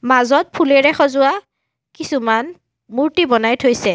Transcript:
মাজত ফুলেৰে সজোৱা কিছুমান মূৰ্ত্তি বনাই থৈছে।